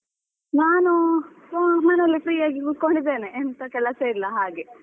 ನಾನು ಮನೆಯಲ್ಲಿ free ಆಗಿ ಕುತ್ಕೊಂಡಿದ್ದೀನಿ ಎಂತ ಕೆಲಸ ಇಲ್ಲ ಹಾಗೆ.